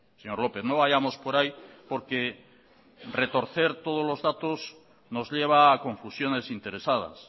señor lópez no vayamos por ahí porque retorcer todos los datos nos lleva a confusiones interesadas